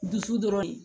Dusu dɔrɔn ye